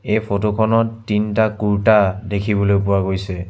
এই ফটো খনত তিনটা কূৰ্তা দেখিবলৈ পোৱা গৈছে।